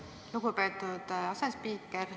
Aitäh, lugupeetud asespiiker!